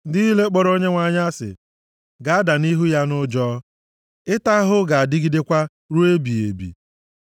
Ndị niile kpọrọ Onyenwe anyị asị, ga-ada nʼihu ya nʼụjọ. Ịta ahụhụ ha ga-adịgidekwa, ruo ebighị ebi.